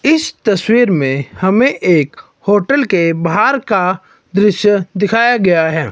इस तस्वीर में हमें एक होटल के बाहर का दृश्य दिखाया गया है।